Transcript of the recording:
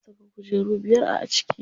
Zan saka kujeru biyar a ciki.